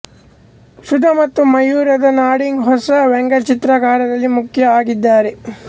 ಸುಧಾ ಮತ್ತು ಮಯೂರದ ನಾಡಿಗ್ ಹೊಸ ವ್ಯಂಗ್ಯಚಿತ್ರಕಾರರಲ್ಲಿ ಮುಖ್ಯ ಆಗಿದ್ದಾರೆ